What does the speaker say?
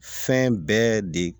Fɛn bɛɛ de